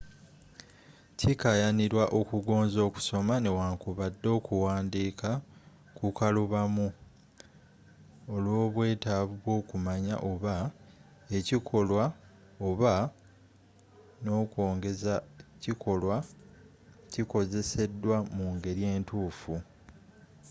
kikaayanirwa okugonza okusoma newankubadde okuwandiika kukalubamu olwobwetaavu bwookumanya oba ekikolwa oba nakongeza kikolwa kikozeseddwa mu ngeri entuufu